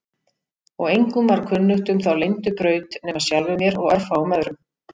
Og engum var kunnugt um þá leyndu braut nema sjálfum mér og örfáum öðrum.